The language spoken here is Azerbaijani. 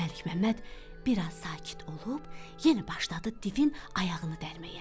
Məlikməmməd biraz sakit olub, yenə başladı divin ayağını dərməyə.